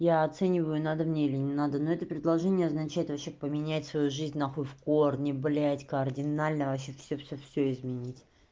я оцениваю надо мне или не надо но это предложение означает вообще поменять свою жизнь нахуй в корни блять кардинально вообще всё всё всё изменить